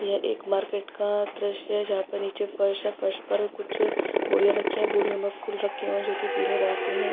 यह एक मार्केट का दृश्य है जहापे नीचे फर्श है फर्श पर कुछ बोरिया रखी है बोरियों मै फुल रखे हुए है ज्योंकि पीले रंग के है।